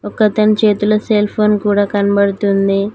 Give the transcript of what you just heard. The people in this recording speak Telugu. ఒకతన్ చేతిలో సెల్ఫోన్ కూడా కనపడుతుంది.